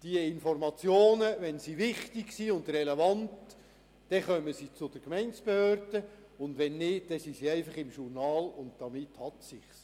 Diese Informationen gelangen zu den Gemeindebehörden, wenn sie wichtig und relevant sind, und wenn nicht, sind sie einfach im Journal erfasst, und damit hat es sich.